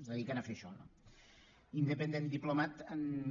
es dediquen a fer això no independent diplomat